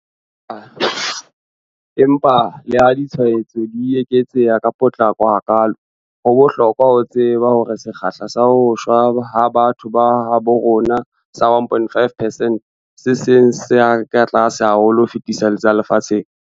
Empa leha ditshwaetso di eketseha ka potlako hakaalo, ho bohlokwa ho tseba hore sekgahla sa ho shwa ha batho ba habo rona sa 1.5 percent ke se seng sa tse tlase ka ho fetisisa lefatsheng.